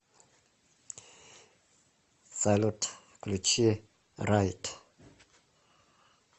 салют включи райд